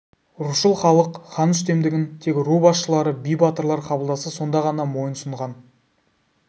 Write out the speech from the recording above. рушыл халық хан үстемдігін тек ру басшылары би батырлар қабылдаса сонда ғана мойынсұнған